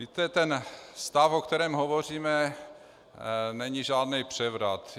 Víte, ten stav, o kterém hovoříme, není žádný převrat.